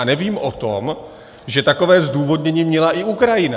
A nevím o tom, že takové zdůvodnění měla i Ukrajina.